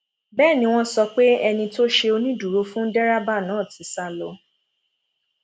bẹẹ ni wọn sọ pé ẹni tó ṣe onídùúró fún dẹrẹbà náà ti sá lọ